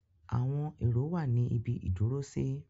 Àwọn èrò wà ní ibi ìdúrósí.